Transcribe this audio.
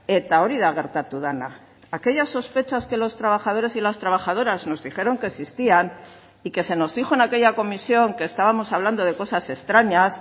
eta hori da gertatu dena aquellas sospechas que los trabajadores y las trabajadoras nos dijeron que existían y que se nos dijo en aquella comisión que estábamos hablando de cosas extrañas